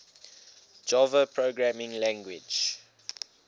java programming language